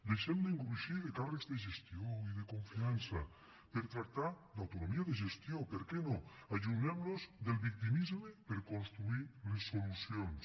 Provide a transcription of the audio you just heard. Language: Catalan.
deixem d’engrossir de càrrecs de gestió i de confiança per tractar d’autonomia de gestió per què no allunyem nos del victimisme per construir les solucions